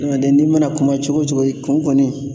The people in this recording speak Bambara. Ɲɔntɛ n'i mana kuma cogo o cogo i kun kɔni